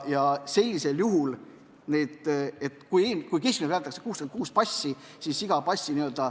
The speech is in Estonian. Keskmiselt antakse välja 66 passi.